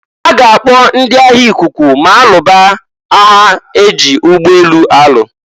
A ga-akpọ ndị agha ikuku ma alụba aya e ji ụgbọ elu alụ.